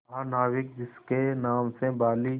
महानाविक जिसके नाम से बाली